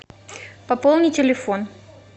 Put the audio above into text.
пополни телефон